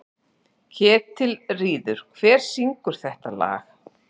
Ketilríður, hver syngur þetta lag?